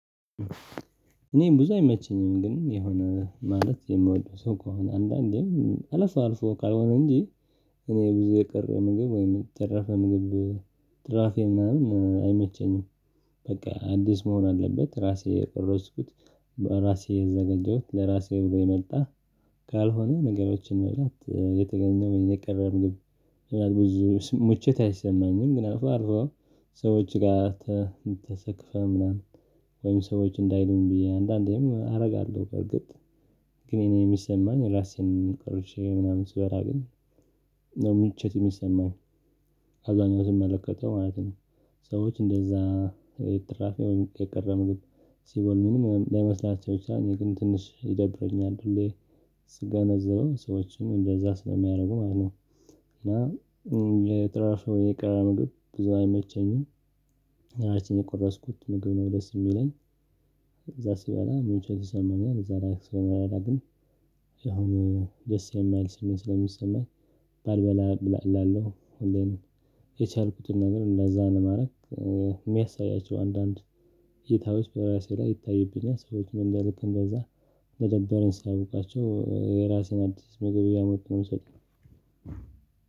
እኔም ብዙ አይመቸኝም ግን የሆነ ማለት የምወደው ሰው ከሆነ አንዳንዴም አለፈው አልፎ ካልሆነ እንጂ እኔ ብዙ የቀረ ምግብ ወይም የተረፈ ምግብ ትራፌ ምናምን አይመቸኝም። በቃ አዲስ መሆን አለበት ራሴ የቀረጽኩት ራሴ የዘገጀሁት ለራሴ ብሎ የመጣ ካልሆነ ነገሮችን መብላት የተገኘው ወይም የቀረም ምግብ። ብዙ ሙችት አይሰማኝም። ግን አልፎ ሰዎች ጋር ተሰክፈህ ምናምን ወይም ሰዎች እንዳይሉኝ ብዬ አንዳንዴም አደርጋለሁ በርግጥ። ግን እኔ የሚሰማኝ ራሴን ቀርቼ ምናምን ስበራ ግን ነው ምችት የሚሰማኝ። አብዛኛው ትመለከተው ማለት ነው። ሰዎች እንደዛ ትራፊ ወይም የቀረበ ምግብ ሲበሉ ምንም ላይመስላቸው ይችላል እኔ ግን ትንሽ ይደብረኛል። ሁሌ ስገነዘበው ሰዎችን እንደዛ ስለሚያደርጉ ማለት ነው። እና የትራፍ ምግብ ብዙ አይመቸኝም። አራሴ የቆረስኩት ምግብ ነው ደስ የሚለኝ። እዛ ስበላ ሙቾች ይሰማኛል። እዛ ላይ ስበላ ግን አሁን ደስ የማይል ስሜት ስለሚሰማኝ ባልበላ እላለሁ። የቻልኩትን ነገር ለዛ ነው ማድረግ። የሚያሳያቸው አንዳንድ ሁኔታዎች በራሴ ላይ ይታይብኛል ሰዎች ምን እንደልክ እንደዛ ለደበረኝ ሲያውቃቸው የራሴን አዲስ ምግብ እያመጡ ነው የምሰጠው።